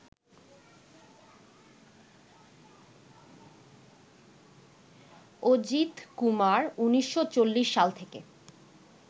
অজিতকুমার ১৯৪০ সাল থেকে